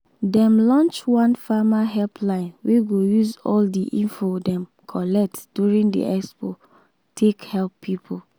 dem launch one farmer helpline wey go use all the info dem gather during the expo take help people.